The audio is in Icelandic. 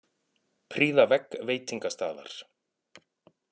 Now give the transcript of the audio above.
Prýða vegg veitingastaðar